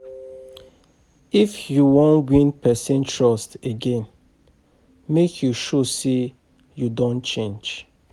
If you wan win pesin trust again, make you show sey you don change.